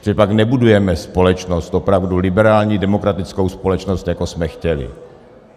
Protože pak nebudujeme společnost opravdu liberální, demokratickou společnost, jako jsme chtěli.